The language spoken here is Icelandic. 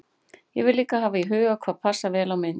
Ég verð líka að hafa í huga hvað passar vel á mynd.